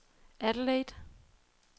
Adelaide